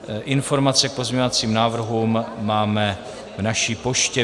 Informace k pozměňovacím návrhům máme v naší poště.